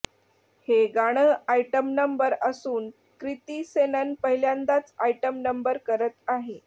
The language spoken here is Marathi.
हे गाणं आयटम नंबर असून क्रिती सनॉन पहिल्यांदाच आयटम नंबर करत आहे